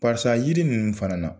Pasa yiri ninnu fana na.